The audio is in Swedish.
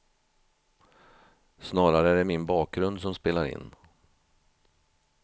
Snarare är det min bakgrund som spelar in.